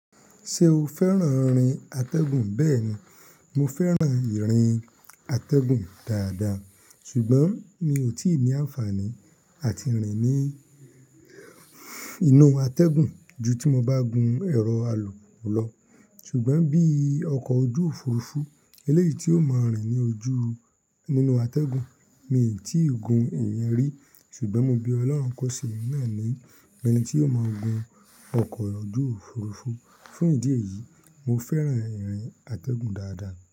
Ṣé o fẹ́ràn rìn àtẹ̀gùn? Bẹ́ẹ̀ni, mo fẹ́ràn ìrìn àtẹ̀gùn dáadáa ṣùgbọ́n mi ò tíì ní àǹfààní àti rìn ní inú àtẹ̀gùn ju tí mo bá gùn ẹ̀rọ alùpùpù lọ. Ṣùgbọ́n bí ọkọ̀ ojú òfurufú eléyìí tí ó máa rìn ní ojú nínú àtẹ̀gùn mi tíì gun ìyẹn rí ṣùgbọ́n mo bí Ọlọ́run kọ́ṣẹ́ mi náà ní ẹni tí yóò máa gùn ọkọ̀ ojú òfurufú. Fún ìdí èyí, mo fẹ́ràn ìrìn àtẹ̀gùn dáadáa.